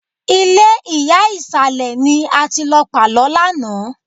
Ilé ìyá ìsàlẹ̀ ni a ti lọ pàlọ́ lánàá